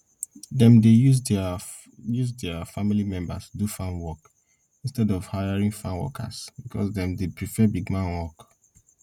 dem dey use deir use deir family members do farm work instead of hiring farm workers because dem dey prefer big man work